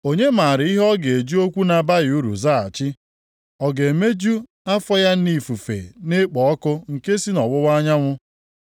“Onye maara ihe ọ ga-eji okwu na-abaghị uru zaghachi? Ọ ga-emeju afọ ya nʼifufe na-ekpo ọkụ nke si nʼọwụwa anyanwụ?